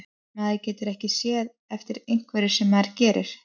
Maður getur ekkert séð eftir einhverju sem maður gerir.